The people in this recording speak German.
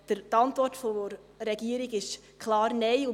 Die Antwort der Regierung lautet klar Nein.